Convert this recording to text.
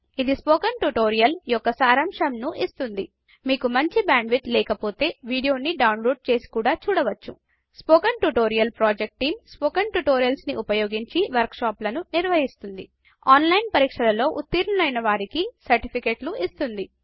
ఇది spoken tutorial యొక్క సరంశంను ఇస్తుంది మీకు మంచి బ్యాండ్ విడ్త్ లేక పొతే వీడియో ని డౌన్లోడ్ చేసి కూడా చూడవచ్చు spoken tutorial project team spoken tutorials ని ఉపయోగించి వర్క్ షాపులను నిర్వహిస్తుంది ఆన్లైన్ పరిక్షలలో ఉతిర్నులైన వారికీ సర్టిఫికెట్లు ఇస్తుంది